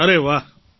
અરે વાહ